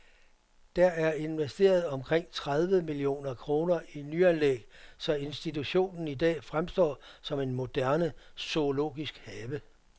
Der er investeret omkring tredive millioner kroner i nyanlæg, så institutionen i dag fremstår som en moderne zoologisk have.